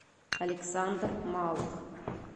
александр малых